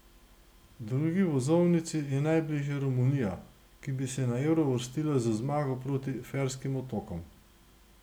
Drugi vozovnici je najbližje Romunija, ki bi se na Euro uvrstila z zmago proti Ferskim otokom.